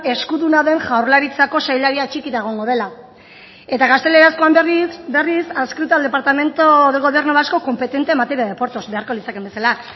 eskuduna den jaurlaritzako sailari atxikita egongo dela eta gaztelerazkoan berriz adscrito al departamento del gobierno vasco competente en materia de puertos beharko litzakeen bezala